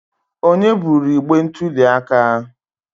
Onye buru igbe ntuli aka?